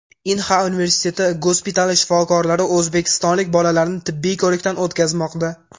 Inha universiteti gospitali shifokorlari o‘zbekistonlik bolalarni tibbiy ko‘rikdan o‘tkazmoqda.